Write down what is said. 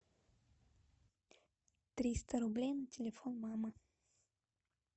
триста рублей на телефон мамы